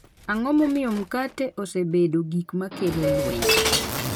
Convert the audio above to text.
Ang’o momiyo mkate osebedo gik ma kelo lweny